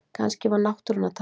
Kannski var náttúran að tala